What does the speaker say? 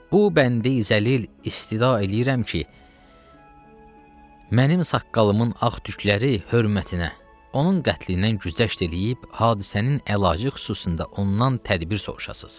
Bu bəndə-i zəlil istida eləyirəm ki, mənim saqqalımın ağ tükləri hörmətinə, onun qətlindən güzəşt eləyib, hadisənin əlacı xüsusunda ondan tədbir soruşasız.